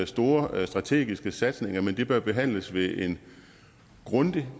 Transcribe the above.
store strategiske satsninger men de bør behandles ved en grundig